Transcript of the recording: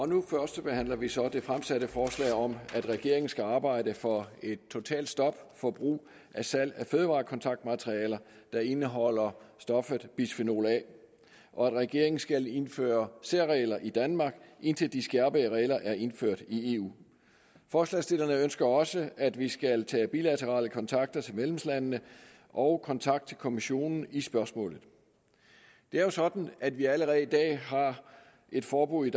nu førstebehandler vi så det fremsatte forslag om at regeringen skal arbejde for et totalt stop for brug og salg af fødevarekontaktmaterialer der indeholder stoffet bisfenol a og at regeringen skal indføre særregler i danmark indtil de skærpede regler er indført i eu forslagsstillerne ønsker også at vi skal tage bilaterale kontakter til medlemslandene og kontakt til kommissionen i spørgsmålet det er jo sådan at vi allerede i dag har et forbud i